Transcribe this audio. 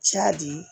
Jaa di